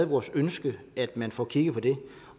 vores ønske at man får kigget på det